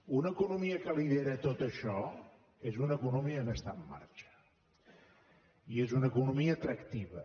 una economia que lidera tot això és una economia que està en marxa i és una economia atractiva